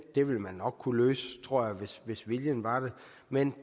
det ville man nok kunne løse hvis viljen var der men